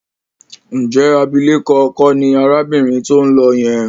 Ǹjẹ́ abilékọ kọ́ ni arábìnrin tó ń lọ yẹn?